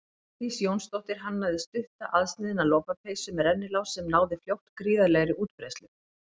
Védís Jónsdóttir hannaði stutta aðsniðna lopapeysu með rennilás sem náði fljótt gríðarlegri útbreiðslu.